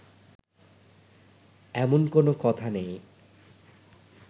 এমন কোনো কথা নেই